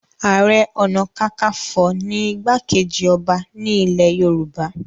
Ààrẹ ọ̀nàkakafo ni igbá-kejì ọba ní ilẹ̀ Yorùbá